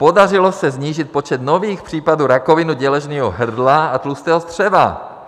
Podařilo se snížit počet nových případů rakoviny děložního hrdla a tlustého střeva.